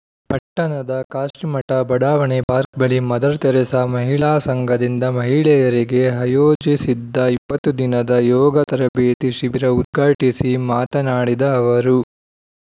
ಪಟ್ಟಣದ ಕಾಶಿಮಠ ಬಡಾವಣೆ ಪಾರ್ಕ್ ಬಳಿ ಮದರ್‌ ತೆರೆಸಾ ಮಹಿಳಾ ಸಂಘದಿಂದ ಮಹಿಳೆಯರಿಗೆ ಆಯೋಜಿಸಿದ್ದ ಇಪ್ಪತ್ತು ದಿನದ ಯೋಗ ತರಬೇತಿ ಶಿಬಿರ ಉದ್ಘಾಟಿಸಿ ಮಾತನಾಡಿದ ಅವರು